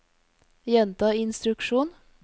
gjenta instruksjon